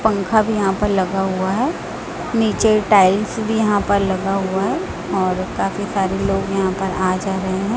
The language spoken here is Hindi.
पंखा भी यहां पर लगा हुआ है नीचे टाइल्स भी यहां पर लगा हुआ है और काफी सारे लोग यहां पर आ जा रहे हैं।